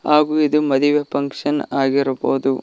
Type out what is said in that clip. ಹಾಗು ಇದು ಮದುವೆ ಫಂಕ್ಷನ್ ಆಗಿರಬಹುದು.